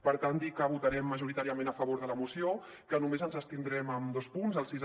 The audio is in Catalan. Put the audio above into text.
per tant dir que votarem majoritàriament a favor de la moció i que només ens hi abstindrem en dos punts el sis